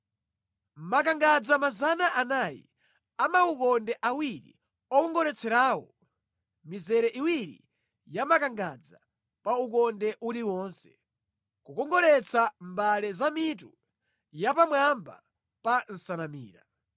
makangadza 400 a maukonde awiri okongoletserawo (mizere iwiri ya makangadza pa ukonde uliwonse, kukongoletsa mbale za mitu yapamwamba pa nsanamira);